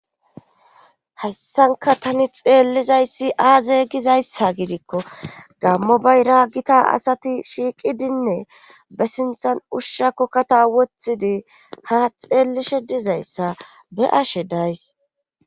Hassanka tani xeellizayssi aazeygizayssa gidikko gammo bay raagita asati shiiqidinne be sinthan ushshakkokkata wothidi ha xeellishe dizayssa be ashe days.